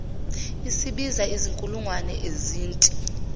isibiza izinkulungwane ezinti